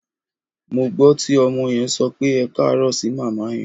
Mo gbọ́ tí ọmọ yẹn sọ pé "ẹkáàárọ̀" sí màmá yẹn.